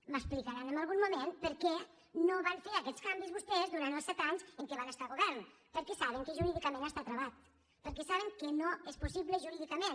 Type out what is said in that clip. m’explicaran en algun moment per què no van fer aquests canvis vostès durant els set anys en què van estar al govern perquè saben que jurídicament està travat perquè sa·ben que no és possible jurídicament